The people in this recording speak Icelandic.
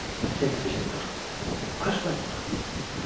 Sindri Sindrason: Hvers vegna?